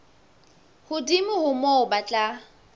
hodimo ho moo ba tla